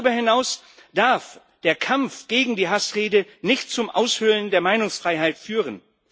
Darüber hinaus darf der Kampf gegen die Hassrede nicht zum Aushöhlen der Meinungsfreiheit führen.